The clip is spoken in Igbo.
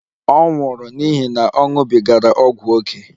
Ọ nwụrụ n'ihi na ọ ṅụbigara ọgwụ ókè